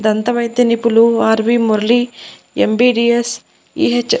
దంత వైద్య నిపులు R V Murali M B D S E H --